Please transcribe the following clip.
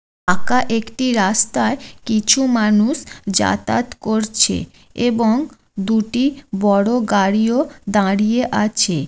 আঁকা একটি রাস্তায় কিছু মানুষ যাতায়াত করছে | এবং দুটি বড়ো গাড়িও দাঁড়িয়ে আছে।